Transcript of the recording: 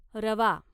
रवा